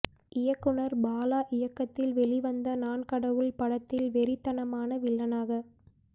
இயக்குனர் பாலா இயக்கத்தில் வெளிவந்த நான் கடவுள் படத்தில் வெறித்தனமான வில்லனாக